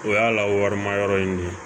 O y'a lawarimayɔrɔ ye